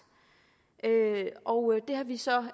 og det har vi så